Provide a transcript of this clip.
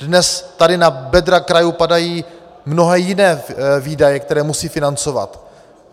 Dnes tady na bedra krajů padají mnohé jiné výdaje, které musí financovat.